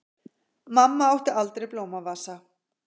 Mamma átti aldrei blómavasa.